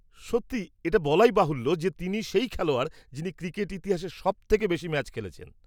-সত্যি। এটা বলাই বাহুল্য যে তিনিই সেই খেলোয়াড় যিনি ক্রিকেট ইতিহাসে সবথেকে বেশি ম্যাচ খেলেছেন।